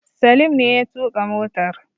Salim ne ya tuƙa motar